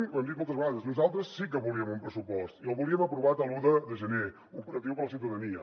ho hem dit moltes vegades nosaltres sí que volíem un pressupost i el volíem aprovat l’un de gener operatiu per a la ciutadania